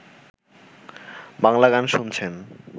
বাংলা গান শুনছেন